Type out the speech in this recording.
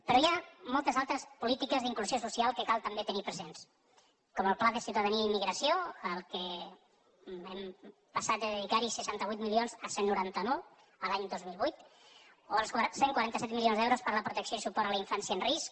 però hi ha moltes altres polítiques d’inclusió social que cal també tenir presents com el pla de ciutadania i immigració al qual hem passat de dedicar hi seixanta vuit milions a cent i noranta nou a l’any dos mil vuit o els cent i quaranta set milions d’euros per a la protecció i suport a la infància en risc